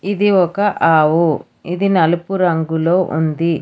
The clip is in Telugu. ఇది ఒక ఆవు ఇది నలుపు రంగులో ఉంది.